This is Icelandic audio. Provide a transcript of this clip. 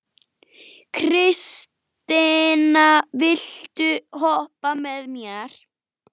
Kristine, viltu hoppa með mér?